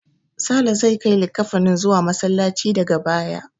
Sale zai kai likkafanin zuwa Masallaci daga baya.